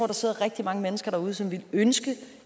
der sidder rigtig mange mennesker derude som ville ønske